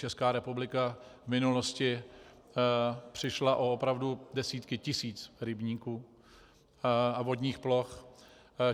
Česká republika v minulosti přišla opravdu o desítky tisíc rybníků a vodních ploch.